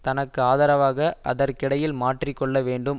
தனக்கு ஆதரவாக அதற்கிடையில் மாற்றி கொள்ள வேண்டும்